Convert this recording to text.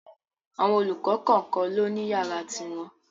Àwọn olùkọ́ kọ̀kan ló ni yàrá ti wọn.